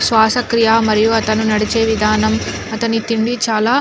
శ్వాసక్రియ మరియు అతను నడిచే విధానం అతని తిండి చాల --